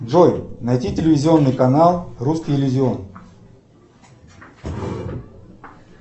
джой найди телевизионный канал русский иллюзион